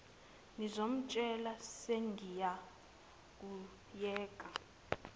ngizomtshela sengiya kuyeke